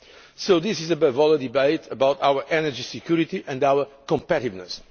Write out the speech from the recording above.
So this is above all a debate about our energy security and our competitiveness.